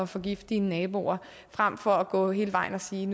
forgifte dine naboer frem for at gå hele vejen og sige